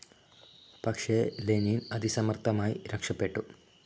പക്ഷേ ലെനിൻ അതി സമർത്ഥമായി രക്ഷപ്പെട്ടു.